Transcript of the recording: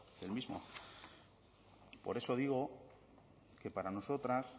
del mismo por eso digo que para nosotras